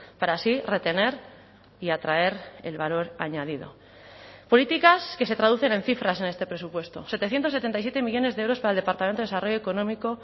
para así retener y atraer el valor añadido políticas que se traducen en cifras en este presupuesto setecientos setenta y siete millónes de euros para el departamento de desarrollo económico